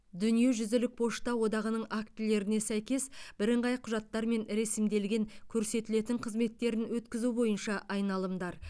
дүниежүзілік пошта одағының актілеріне сәйкес бірыңғай құжаттармен ресімделген көрсетілетін қызметтерін өткізу бойынша айналымдар